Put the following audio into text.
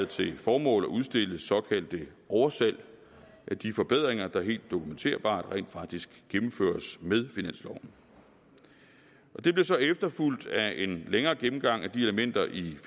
til formål at udstille såkaldte oversalg af de forbedringer der helt dokumenterbart rent faktisk gennemføres med finansloven det blev så efterfulgt af en længere gennemgang af de elementer i